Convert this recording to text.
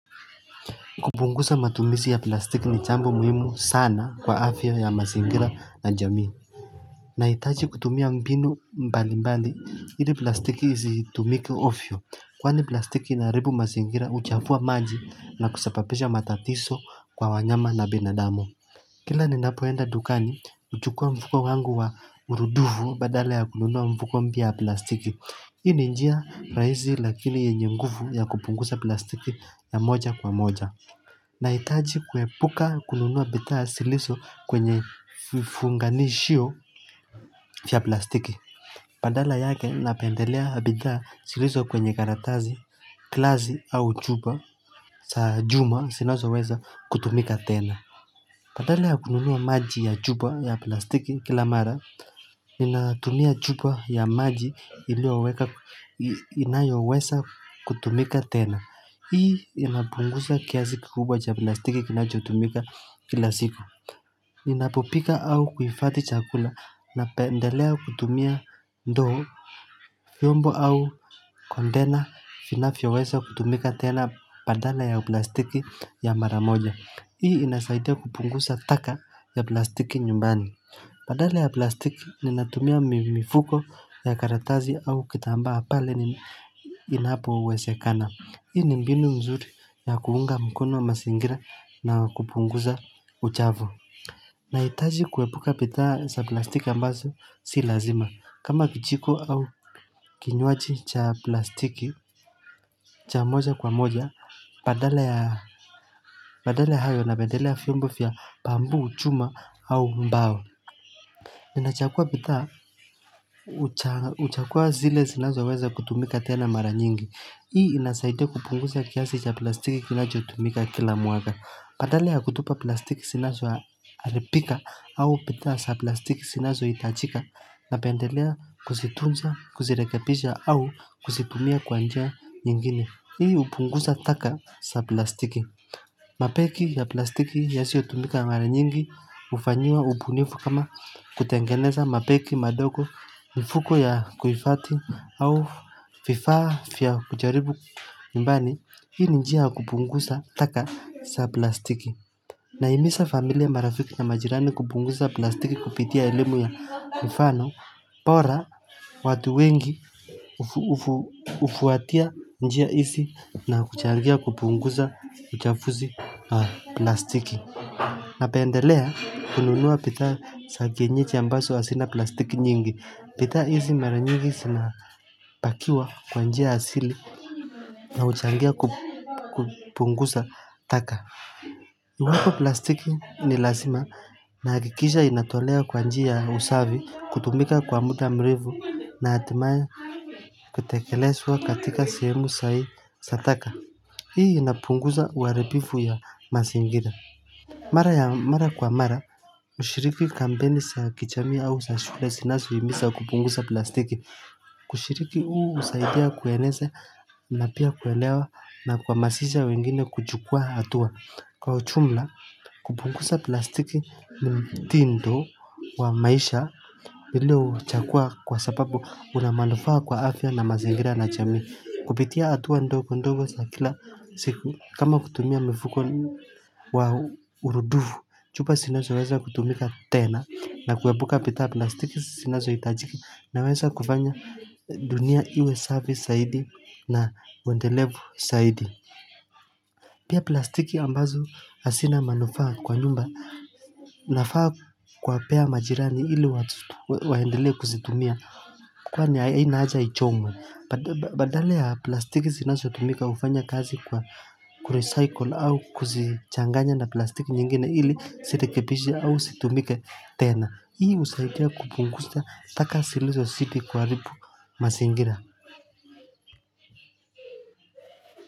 Kupunguza matumizi ya plastiki ni jambo muhimu sana kwa afya ya mazingira na jamii. Nahitaji kutumia mbinu mbali mbali, ili plastiki zitumike ovyo. Kwani plastiki inaharibu mazingira huchafua maji na kusababisha matatizo kwa wanyama na binadamu. Kila ni napo enda dukani, huchukua mfuko wangu wa urudufu badala ya knunua mfuko mpya ya plastiki. Hii ni njia raisi lakini yenye nguvu ya kupunguza plastiki ya moja kwa moja. Nahitaji kuepuka kununua bidhaa zilizo kwenye vifunganishio vya plastiki. Badala yake napendelea bidhaa zilizo kwenye karatasi, glass au chupa za juma zinazo weza kutumika tena badala ya kununuwa maji ya chupa ya plastiki kila mara, ninatumia chupa ya maji ilioweka inayo weza kutumika tena hii inapunguza kiasi kikubwa cha plastiki kinachotumika kila siku ninapopika au kuhifadhi chakula napeelea kutumia ndoo. Vyombo au container vinavyoweza kutumika tena badala ya plastiki ya mara moja Hii inasaidia kupunguza taka ya plastiki nyumbani badala ya plastiki ninatumia mimifuko ya karatasi au kitambaa pale inapo wezekana, Hii ni mbinu mzuri ya kuunga mkono wa mazingira na kupunguza uchavu. Nahitaji kuepuka bidhaa za plastiki ambazo si lazima. Kama kijiko au kinywaji cha plastiki cha moja kwa moja, badala ya hayo na badala ya vyombo vya bamboo, chuma au mbao. Ninachagua bidhaa uchagua zile zinazo weza kutumika tena mara nyingi. Hii inasaidia kupunguza kiasi cha plastiki kilachotumika kila mwaka. Badala ya kutupa plastiki zinazo haribika au bidhaa za plastiki zinazo hitajika napendelea kuzitunza, kusirekebisha au kuzitumia kwa njia nyingine Hii upungusa taka za plastiki. Mabegi ya plastiki yasiotumika mara nyingi hufanyia ubunifu kama kutengeneza mabegi, madogo mifuko ya kuhifadhi au vifaa vya kujaribu nyumbani hii ni njia kupunguza taka za plastiki. Nahimiza familia marafiki na majirani kupunguza plastiki kupitia elimu ya mfano bora watu wengi ufuatia njia izi na kuchangia kupunguza uchafuzi plastiki napendelea kununua bidhaa za kienyeji ambazo hazina plastiki nyingi bidhaa hizi mara nyingi sina pakiwa kwa njia asili na huchangia kupunguza taka huko plastiki ni lazima na hakikisha inatolea kwa njia ya usafi kutumika kwa muda mrefu na hatimaye kutekelezwa katika sehemu zaidi za taka Hii inapungusa uharibifu wa mazingira mara ya mara kwa mara Ushiriki kampeni sa kijamii au za shule sina kuhimisa kupunguza plastiki. Kushiriki huu usaidia kueneza na pia kuelewa na kwa mahamasha wengine kuchukua hatua. Kwa ujumla, kupungusa plastiki mtindo wa maisha. Bila kuchagua kwa sababu kuna manufaa kwa afya na mazingira na jamii. Kupitia hatua ndogo ndogo za kila siku kama kutumia mifuko wa u Urudufu, chupa zinazoweza kutumika tena na kuwepuka pita plastiki zinazo hitajiki na weza kufanya dunia iwe safi zaidi na uwendelevu zaidi. Pia plastiki ambazo asina manufaa kwa nyumba nafaa kwa wapea majirani ili waendelee kuzitumia. Kwa ni haina hajai ichomwe badala ya plastiki zinazo tumika ufanya kazi kwa kurecycle au kuzichanganya na plastiki nyingine na ilikusaidia zirekebishe au zitumike tena ii usaidiai kupungkusnya taka ziilizozidi kwa kuharibu mazingira.